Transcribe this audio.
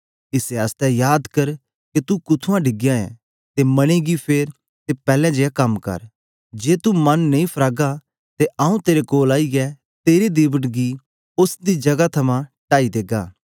इसै आस्ते याद कर के तू कुत्थुआं डिगयां ऐ ते मने गी फेर ते पैलैं जेया कम कर जे तू मन नेई फरागा ते आऊँ तेरे कोल आईयै तेरे दीवट गी उस्स दी जगह थमां टाई देगा